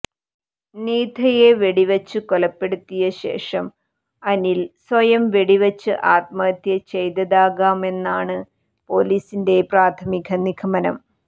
നീതയെ വെടിവച്ചു കൊലപ്പെടുത്തിയശേഷം അനിൽ സ്വയം വെടിവച്ച് ആത്മഹത്യ ചെയ്തതാകാമെന്നാണ് പോലീസിന്റെ പ്രാഥമിക നിഗമനം